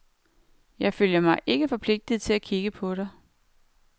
Jeg føler mig ikke forpligtet til at kigge på dig.